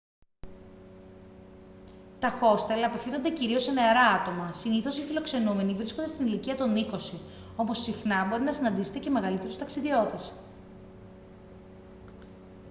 τα χόστελ απευθύνονται κυρίως σε νεαρά άτομα συνήθως οι φιλοξενούμενοι βρίσκονται στην ηλικία των είκοσι όμως συχνά μπορεί να συναντήσετε και μεγαλύτερους ταξιδιώτες